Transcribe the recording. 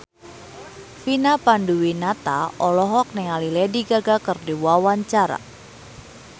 Vina Panduwinata olohok ningali Lady Gaga keur diwawancara